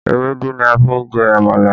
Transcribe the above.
Ewédú ni a fi jẹ àmàlà